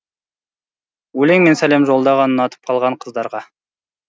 өлеңмен сәлем жолданған ұнатып қалған қыздарға